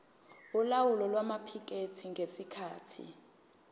yolawulo lwamaphikethi ngesikhathi